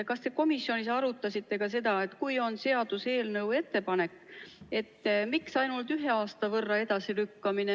Kas te komisjonis arutasite ka seda, miks seaduseelnõu ettepanek on ainult ühe aasta võrra edasilükkamine?